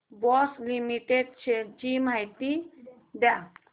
Bosch limited shares ची माहिती द्या